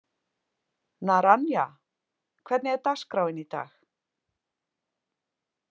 Naranja, hvernig er dagskráin í dag?